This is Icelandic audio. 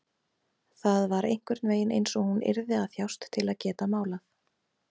Það var einhvern veginn einsog hún yrði að þjást til að geta málað.